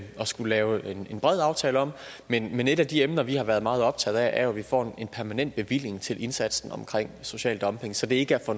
skulle lave en bred aftale om men et af de emner vi har været meget optaget af er jo at vi får en permanent bevilling til indsatsen omkring social dumping så det ikke er